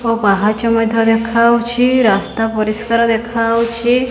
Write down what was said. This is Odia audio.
ଓ ପାହଚ ମଧ୍ୟ ଦେଖାହୋଉଛି ରାସ୍ତା ପରିଷ୍କାର ଦେଖାହୋଉଛି।